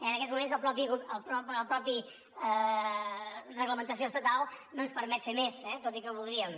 en aquests moments la mateixa reglamentació estatal no ens permet fer més tot i que ho voldríem